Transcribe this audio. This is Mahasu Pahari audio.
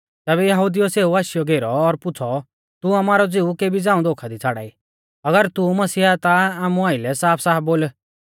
तैबै यहुदिउऐ सेऊ आशीयौ घेरौ और पुछ़ौ तू आमारौ ज़िऊ केबी झ़ांऊ धोखा दी छ़ाड़ाई अगर तू मसीह ता आमु आइलै साफसाफ बोल